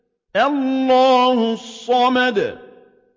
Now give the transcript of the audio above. اللَّهُ الصَّمَدُ